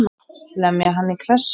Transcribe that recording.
Lemja hann í klessu.